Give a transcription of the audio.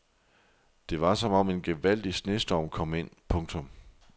Det var som om en gevaldig snestorm kom ind. punktum